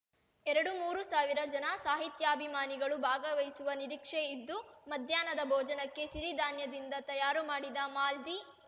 ಎರಡುಮೂರೂ ಸಾವಿರ ಜನ ಸಾಹಿತ್ಯಾಭಿಮಾನಿಗಳು ಭಾಗವಹಿಸುವ ನಿರೀಕ್ಷೆ ಇದ್ದು ಮಧ್ಯಾಹ್ನದ ಭೋಜನಕ್ಕೆ ಸಿರಿಧಾನ್ಯದಿಂದ ತಯಾರು ಮಾಡಿದ ಮಾಲ್‌ದಿ